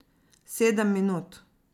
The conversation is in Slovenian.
Sedem minut.